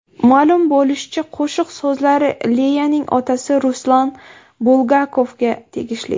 Ma’lum bo‘lishicha, qo‘shiq so‘zlari Leyaning otasi Ruslan Bulgakovga tegishli.